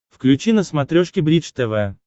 включи на смотрешке бридж тв